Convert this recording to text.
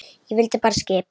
Ég fylgdi bara skip